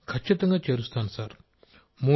రాజేష్ ప్రజాపతి ఖచ్చితంగా చేరుస్తాను సార్